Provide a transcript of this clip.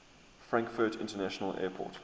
frankfurt international airport